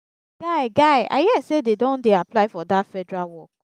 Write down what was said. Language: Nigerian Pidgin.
guy guy i hear say dey don dey apply for dat federal work